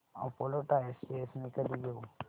Apollo tyres shares मी कधी घेऊ